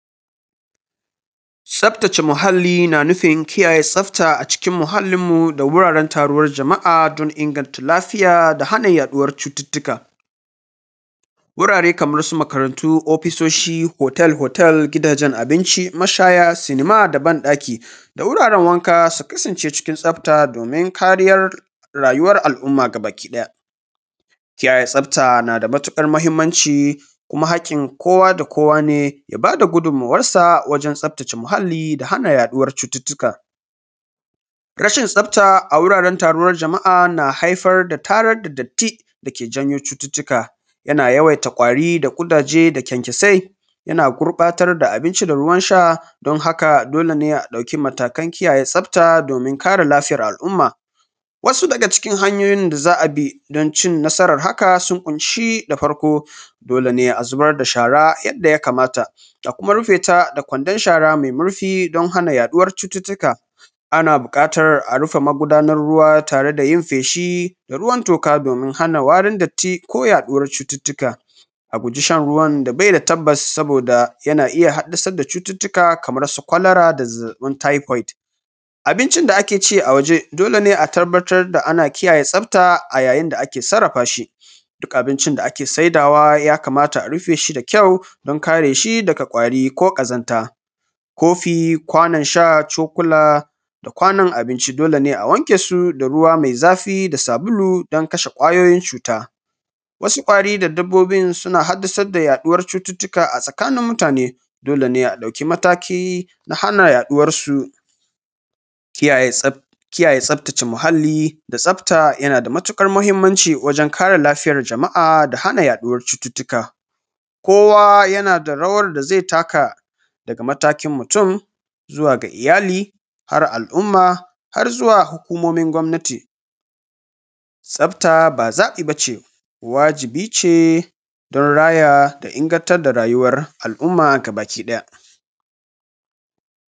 Tsaftace muhalli na nufin kiyaye tsafta a cikin muhallinmu da wuraran taruwar jama'a don inganta lafiya da hana yaɗuwar cututtuka. Gurare kamar su makarantu da hotel da wajen cin abinci da mashaya da cinema da bayan ɗaki, da wuraren wanka su kasance cikin tsafta domin kariyar rayuwar al'umma gaba ɗaya. Kiyaye tsafta na da matuƙar mahimmanci kuma hakkin kowa da kowa ne ya ba da gudummawarsa wajen tsaftace muhalli da hana yaɗuwar cututtuka. Rashin tasfta a wajen taruwar jama'a na haifar da tarar da datti da yake janyo cututtuka yana yawaita kwari da suke da kyankyasai, yana gurɓatar da abinci da ruwan sha, don haka dole ne a ɗauki matakan kiyaye tsafta domin kare lafiyar al'umma. Wasu daga cikin hanyoyin da Za a bi don cin nasarar haka sun ƙunshi da farko dole ne a zubar da shara yadda ya kamata a kuma rufe ta da kwandon shara mai murfi don hana yaɗuwar cututtuka ana buƙatar a rufe magunar ruwa tare da yin feshi da ruwan toka domin hana warin datti ko yaɗuwar cuttuttuka. A guji shan ruwan da bai da tabbas saboda yana iya haddasar da cututtuka kamar su kawalara da zazzabin taifot. Abkncin da ake ci a waje dole ne a tabbatar da ana kiyaye tsafta a yayin da ake sarrafa shi duk abincin da ake saidawa ya kamata rufe shi da ƙyau don kare shi daga ƙwari ko ƙazanta ko kofi ko kwanon sha tsokulq da kwanon abinci dole ne a wanke su da ruwa mai zafi da sabulu don kashe kwayoyin cuta. Wasu ƙwari da dabbobin suna haddasar da yaɗuwar cututtuka a tsakanin mutane dole ne a dauki mataki na hana yaɗuwarsu. Kiyayen tsftace muhalli da tsafta yana da matuƙar mahimmanci wajen jama'a da hana yaɗuwar cututtuka. Kowa yana da rawar da zai taka faga matakin mutun zuwa ga iyali da alumma har zuwa hukumomin gwamnati. Tsafta ba zaɓi ba ce, wajibi ce don raya da ingantar da rayuwar al'umma gaba ɗaya.